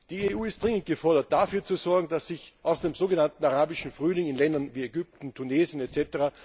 Die EU ist dringend gefordert, dafür zu sorgen, dass sich aus dem sogenannten Arabischen Frühling in Ländern wie Ägypten, Tunesien etc.